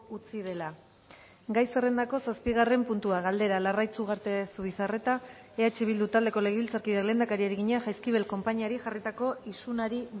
utzi dela gai zerrendako zazpigarren puntua galdera larraitz ugarte zubizarreta eh bildu taldeko legebiltzarkideak lehendakariari egina jaizkibel konpainiari jarritako isunari